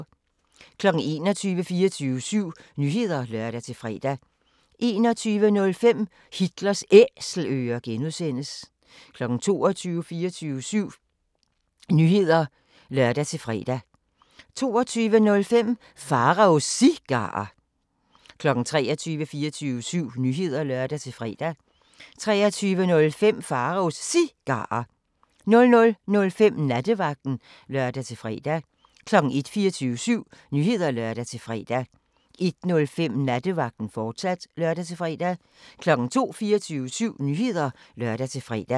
21:00: 24syv Nyheder (lør-fre) 21:05: Hitlers Æselører (G) 22:00: 24syv Nyheder (lør-fre) 22:05: Pharaos Cigarer 23:00: 24syv Nyheder (lør-fre) 23:05: Pharaos Cigarer 00:05: Nattevagten (lør-fre) 01:00: 24syv Nyheder (lør-fre) 01:05: Nattevagten, fortsat (lør-fre) 02:00: 24syv Nyheder (lør-fre)